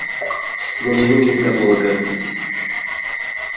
на него нельзя полагаться